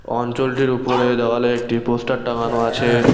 অঞ্চলটির উপরে দেওয়ালে একটি পোস্টার টাঙানো আছে।